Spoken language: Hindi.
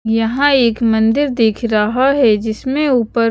यहाँ एक मंदिर दिख रहा है जिसमें ऊपर--